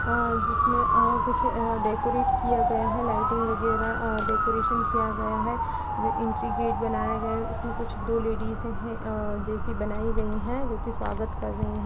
अ जिसमें अ कुछ ह डेकोरेट किया गया है लाइटिंग वगैरह अ डेकोरेशन किया गया है। एंट्री गेट बनाया गया उसमें कुछ दो लेडीसे है अ जैसी बनाई गई है जो कि स्वागत कर रही हैं।